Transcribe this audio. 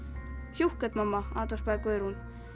hjúkket mamma andvarpaði Guðrún